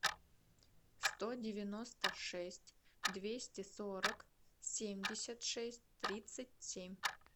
сто девяносто шесть двести сорок семьдесят шесть тридцать семь